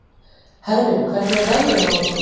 Hervin, hvernig er veðrið á morgun?